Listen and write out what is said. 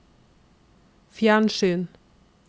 fjernsyn